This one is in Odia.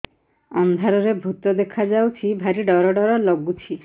ଅନ୍ଧାରରେ ଭୂତ ଦେଖା ଯାଉଛି ଭାରି ଡର ଡର ଲଗୁଛି